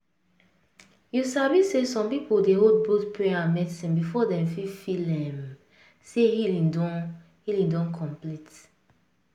you sabi say some people dey hold both prayer and medicine before dem fit feel um say healing don healing don complete.